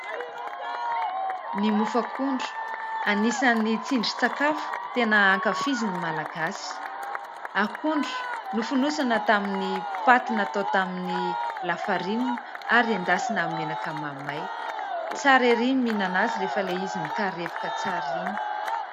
Ny mofo akondro, anisany tsindri-tsakafo tena ankafizin' ny Malagasy. Akondro nofonosana tamin'ny paty natao tamin'ny lafarinina ary endasina amin'ny menaka mahamay. Tsara ery ny mihinana azy rehefa ilay izy mikarepoka tsara iny.